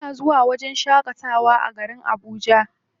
Muna zuwa wajen shaƙatawa a garin Abuja.